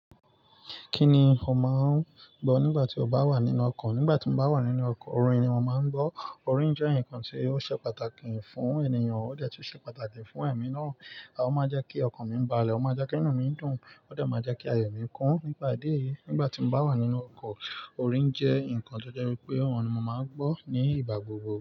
Kí ni o máa ń gbọ́ nígbà tí o bá wà nínú ọkọ̀? Nígbà tí mo bá wà nínú ọkọ̀, orin ni mo máa ń gbọ́. Orin jẹ́ ǹnkan tí ó ṣe pàtàkì fún ènìyàn. Ó de tun ṣe pàtàkì fún èmi náà. Ó máa ń jẹ́ kí ọkan mi balẹ̀, ó máa jẹ́ kí inú mi dùn, ó de máa n jẹ́ kí ayọ̀ mi kún nípà idi eyi. Nígbà tí mo bá wà nínú ọkọ̀, orin jẹ́ ǹnkan tó jẹ́ wípé òhun ni mo máa ń gbọ́ nígbà gbogbo.